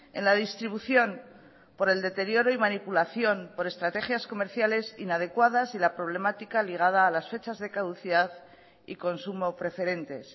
en la distribución por el deterioro y manipulación por estrategias comerciales inadecuadas y la problemática ligada a las fechas de caducidad y consumo preferentes